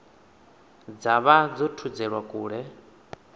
dza vha dzo thudzelwa kule